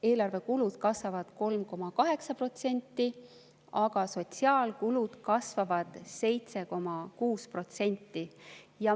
Eelarvekulud kasvavad 3,8%, aga sotsiaalkulud kasvavad 7,6%.